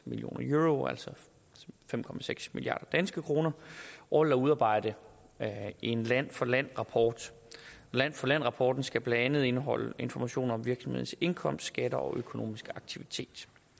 million euro altså fem milliard kr årligt at udarbejde en land for land rapport land for land rapporten skal blandt andet indeholde informationer om virksomhedens indkomst skatter og økonomiske aktivitet